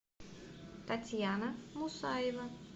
татьяна мусаева